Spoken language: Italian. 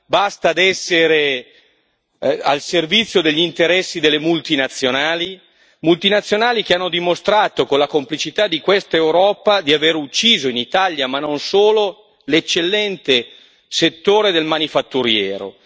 Basta essere al servizio degli interessi delle multinazionali, multinazionali che hanno dimostrato, con la complicità di questa Europa, di aver ucciso in Italia, ma non solo, l'eccellente settore del manifatturiero.